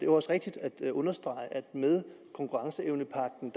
også rigtigt at understrege det at med konkurrenceevnepagten